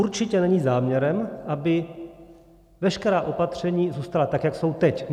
Určitě není záměrem, aby veškerá opatření zůstala tak, jak jsou teď.